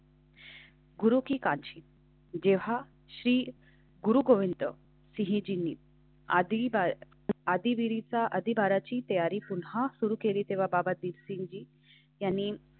गुरु की काची जेव्हा श्री गुरु गोविंद सिंह जीनी आधी आधीचा अधिभाराची तयारी पुन्हा सुरू केली तेव्हा बाबा दीपसिंगजी यांनी.